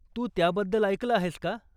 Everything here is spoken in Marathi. तू त्याबद्दल ऐकलं आहेस का?